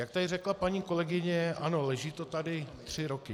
Jak tady řekla paní kolegyně, ano, leží to tady tři roky.